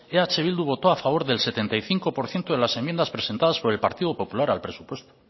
eh bildu votó a favor del setenta y cinco por ciento de las enmiendas presentadas por el partido popular al presupuesto